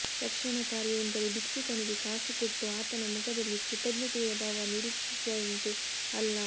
ರಕ್ಷಣಾ ಕಾರ್ಯ ಎಂದರೆ ಭಿಕ್ಷುಕನಿಗೆ ಕಾಸು ಕೊಟ್ಟು ಆತನ ಮುಖದಲ್ಲಿ ಕೃತಜ್ಞತೆಯ ಭಾವ ನಿರೀಕ್ಷಿಸಿದಂತೆ ಅಲ್ಲ